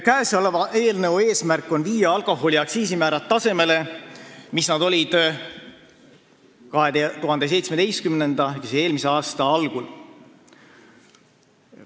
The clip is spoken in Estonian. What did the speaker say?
Käesoleva eelnõu eesmärk on viia alkoholiaktsiisi määrad tasemele, kus need olid 2017. aasta ehk eelmise aasta algul.